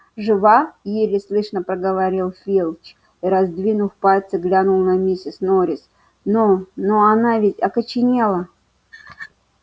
жива еле слышно проговорил филч и раздвинув пальцы глянул на миссис норрис но но она ведь окоченела